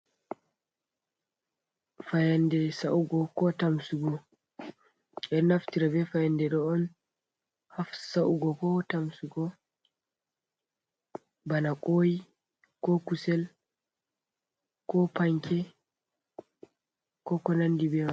Fayaande sa'ugo ko tamsugo. Ɓe naftira be fayande ɗo on ha sa'ugo ko tamsugo bana ƙoi, ko kusel, ko panke, ko konandi be mai.